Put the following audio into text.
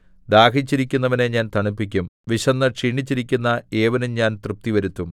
ദാഹിച്ചിരിക്കുന്നവനെ ഞാൻ തണുപ്പിക്കും വിശന്നു ക്ഷീണിച്ചിരിക്കുന്ന ഏവനും ഞാൻ തൃപ്തി വരുത്തും